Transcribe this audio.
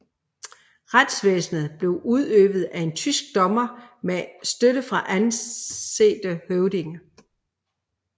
Retsvæsenet blev udøvet af en tysk dommer med støtte fra ansete høvdinge